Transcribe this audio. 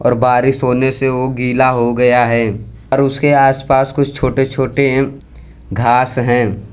बारिश होने से हो वो गीला हो गया है और उसके आसपास कुछ छोटे छोटे घास हैं।